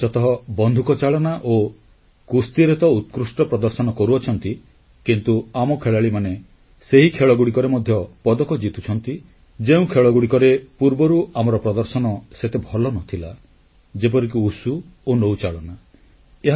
ଭାରତର ଖେଳାଳିମାନେ ବିଶେଷତଃ ବନ୍ଧୁକଚାଳନା ଓ କୁସ୍ତିରେ ତ ଉତ୍କୃଷ୍ଟ ପ୍ରଦର୍ଶନ କରୁଅଛନ୍ତି କିନ୍ତୁ ଆମ ଖେଳାଳିମାନେ ସେହି ଖେଳଗୁଡ଼ିକରେ ମଧ୍ୟ ପଦକ ଜିତୁଛନ୍ତି ଯେଉଁ ଖେଳଗୁଡ଼ିକରେ ପୂର୍ବରୁ ଆମର ପ୍ରଦର୍ଶନ ସେତେ ଭଲ ନ ଥିଲା ଯେପରିକି ଉସୁ ଓ ନୌଚାଳନା